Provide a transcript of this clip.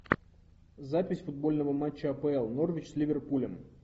запись футбольного матча апл норвич с ливерпулем